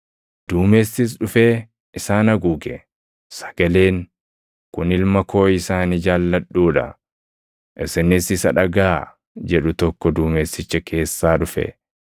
Duumessis + 9:7 Duumessi argamuu Waaqaa mulʼisa (\+xt Bau 13:21‑22; 16:10; 19:9; 2Sn 5:13‑14\+xt*). dhufee isaan haguuge; sagaleen, “Kun Ilma koo isa ani jaalladhuu dha. Isinis isa dhagaʼaa!” jedhu tokko duumessicha keessaa dhufe.